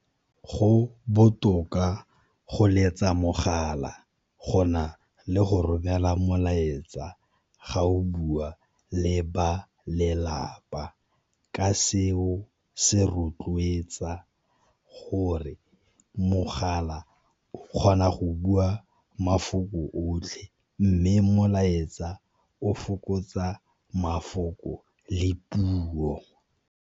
Go botoka go letsa mogala, go na le go romela molaetsa ga o bua le ba lelapa. Ka seo se rotloetsa gore mogala o kgona go bua mafoko otlhe, mme molaetsa o fokotsa mafoko le puo.